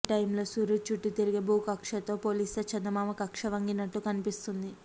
ఈ టైంలో సూర్యుడి చుట్టూ తిరిగే భూకక్ష్యతో పోలిస్తే చందమామ కక్ష్య వంగినట్టు కనిపిస్తుంది